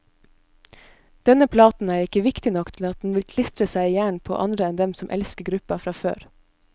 Denne platen er ikke viktig nok til at den vil klistre seg i hjernen på andre enn dem som elsker gruppen fra før.